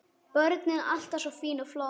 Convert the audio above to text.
Börnin alltaf svo fín og flott.